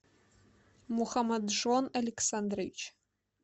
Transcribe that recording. мухаммаджон александрович